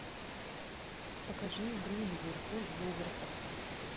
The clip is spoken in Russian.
покажи игру ливерпуль вулверхэмптон